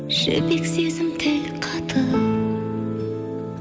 жібек сезім тіл қатып